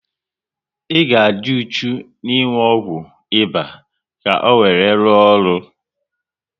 Ị ga adi uchu n'inwu ọgwụ ịba ka owere ruo ọrụ